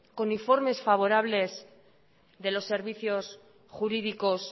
con informes favorables de los servicios jurídicos